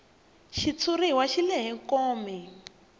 xitshuriwa xi lehe kome